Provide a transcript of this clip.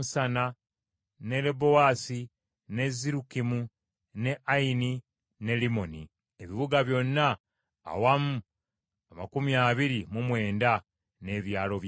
n’e Lebaosi, n’e Sirukimu, n’e Ayini, n’e Limmoni. Ebibuga byonna awamu amakumi abiri mu mwenda, n’ebyalo byabyo.